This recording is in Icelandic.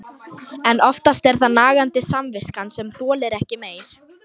En oftast er það nagandi samviskan sem þolir ekki meir.